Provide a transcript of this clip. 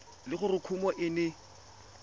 le gore kumo e ne